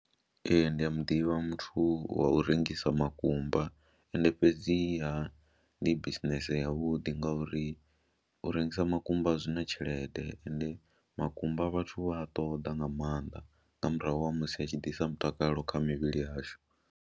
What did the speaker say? Ee, ndi a mu ḓivha muthu wa u rengisa makumba ende fhedziha ndi bisinese yavhuḓi ngauri u rengisa makumba a zwi na tshelede ende makumba vhathu vha a ṱoḓa nga maanḓa nga murahu ha musi a tshi ḓisa mutakalo kha mivhili yashu.